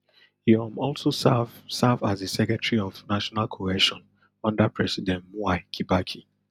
e um also serve serve as di secretary of national cohesion under president mwai kibaki